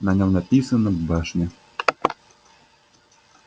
на нем написано башня